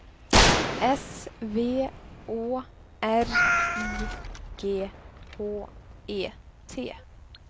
S V Å R I G H E T